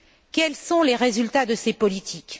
Quels sont les résultats de ces politiques?